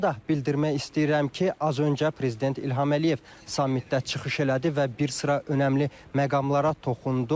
Onu da bildirmək istəyirəm ki, az öncə prezident İlham Əliyev samitdə çıxış elədi və bir sıra önəmli məqamlara toxundu.